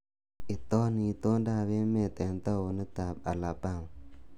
Itoni itondoab emet eng taunit ab Alabama